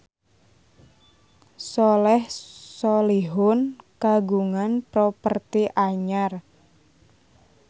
Soleh Solihun kagungan properti anyar